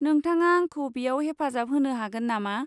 नोंथाङा आंखौ बेयाव हेफाजाब होनो हागोन नामा?